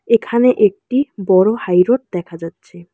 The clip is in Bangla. এখানে একটি বড় হাইরোড দেখা যাচ্ছে।